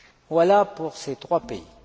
Voilà pour ces trois pays.